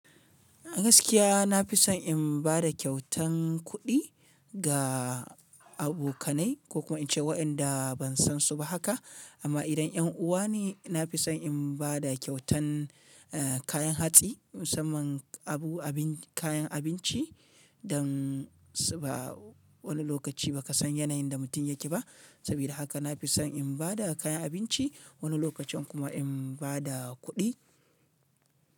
Gaskiya na fi son in ba da kyautan kuɗi ga abokanai ko kuma in ce waƴanda ban san su ba haka, amma idan ƴan uwa ne na fi son in ba da kyautan, eh kayan hatsi, musamman abu abin kayan abinci dan su ba wani lokaci ba ka san yanayin da mutum yake ba. Sabida haka na fi son in ba da kayan abinci wani lokacin kuma in ba da kuɗi.